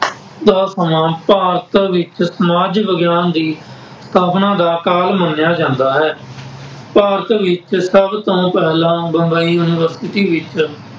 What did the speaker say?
ਦਾ ਸਮਾਂ ਭਾਰਤ ਵਿੱਚ ਸਮਾਜ ਵਿਗਿਆਨ ਦੀ ਸਥਾਪਨਾ ਦਾ ਕਾਲ ਮੰਨਿਆ ਜਾਂਦਾ ਹੈ। ਭਾਰਤ ਵਿੱਚ ਸਭ ਤੋਂ ਪਹਿਲਾਂ ਬੰਬਈ ਯੂਨੀਵਰਸਿਟੀ ਵਿੱਚ